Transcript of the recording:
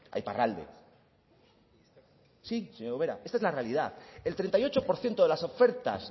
a iparralde si señora ubera esta es la realidad el treinta y ocho por ciento de las ofertas